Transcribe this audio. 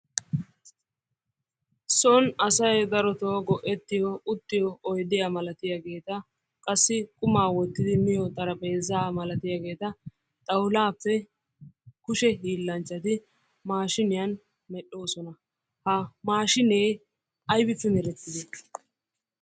Son asay darotoo go'ettiyo uttiyo oydiya malatiyageeta qassi qumaa wottidi miyo xaraphpheezaa malatiyageeta xawulaappe kushe hiillanchchati maashiniyan medhdhoosona. Ha maashinee aybippe merettidee?